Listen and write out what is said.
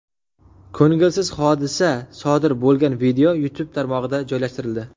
Ko‘ngilsiz hodisa sodir bo‘lgan video YouTube tarmog‘ida joylashtirildi .